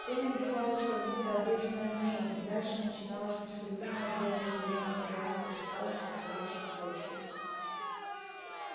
тень обрывалась как будто обрезанная ножом и дальше начиналось нестерпимое белое сияние мириад кристаллов покрывавших почву